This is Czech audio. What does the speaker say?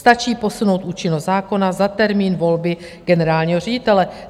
Stačí posunout účinnost zákona za termín volby generálního ředitele.